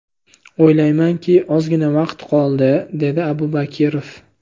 O‘ylaymanki, ozgina vaqt qoldi”, – dedi Abubakirov.